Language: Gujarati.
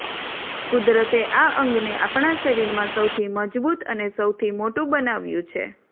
કુદરતે આ અંગને આપણા શરીરમાં સૌથી મજબૂત અને સૌથી મોટું બનાવ્યું છે